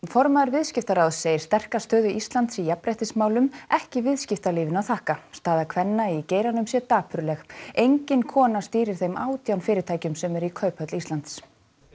formaður Viðskiptaráðs segir sterka stöðu Íslands í jafnréttismálum ekki viðskiptalífinu að þakka staða kvenna í geiranum sé dapurleg engin kona stýrir þeim átján fyrirtækjum sem eru í Kauphöll Íslands